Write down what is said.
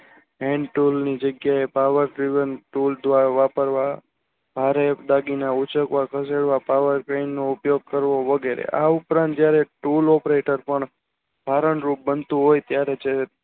hend tool ની જગ્યા એ Power Privn તુલ દ્વારા વાપરવા ભારે બાજુના ઉચકવા જોયા Power ટ્રેનનો ઉપયોગ વગેરે આ ઉપરાંત જયારે તુલ operator કારણ રૂપ બનતું હોય ત્યરે